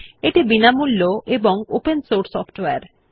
এটি বিনামূল্য ও ওপেন সোর্স সফ্টওয়্যার